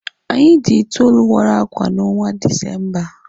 Anyị dị itoolu wara akwa n'ọnwa Disemba.